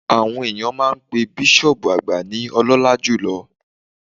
Àwọn ènìyàn máa n pe bísọ̀ọ̀bù àgbà ní Ọlọ́lá jùlo